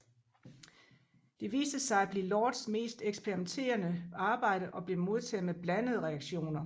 Det viste sig at blive Lords mest eksperimenterende arbejde og blev modtaget med blandede reaktioner